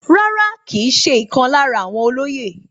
Rárá, kìí ṣe ìkan lára àwọn olóyè